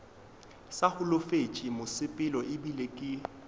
sa holofetše mosepelo ebile ke